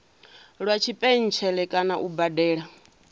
lwa tshipentshele kana u badela